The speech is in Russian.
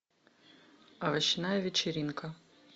овощная вечеринка